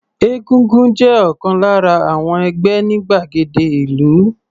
Egúngún jẹ́ ọ̀kan lára àwon ẹgbẹ́ ní gbàgede ìlú.